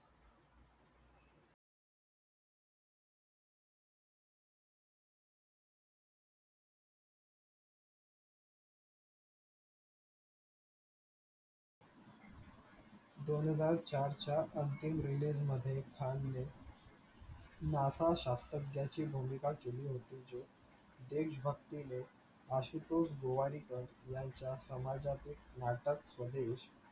दोन हजार चारच्या अंतीम release मध्ये खान ने NASA शास्त्राण्याच्या भूमिका केली होती. जो देश भक्तीने आशुतोष गोवारीकर यांच्या समाजातील नाटक स्वदेश